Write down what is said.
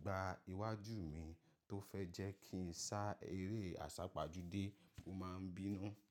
gbá iwájú mi, tó fẹ́ jẹ́ kí ń sá eré àsápajúdé, mo máa ń bínú.